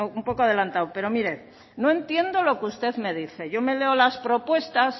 un poco adelantado pero mire no entiendo lo que usted me dice yo me leo las propuestas